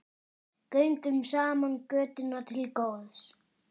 Göngum saman götuna til góðs.